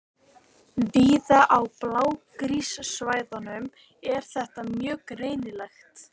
Víða á blágrýtissvæðunum er þetta mjög greinilegt.